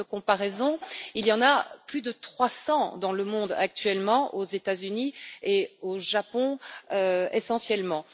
À titre de comparaison, il y en a plus de 300 dans le monde actuellement aux États Unis et au Japon, essentiellement.